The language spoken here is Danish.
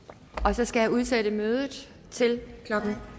så skal jeg udsætte mødet til klokken